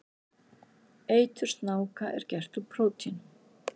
Eitur snáka er gert úr prótínum.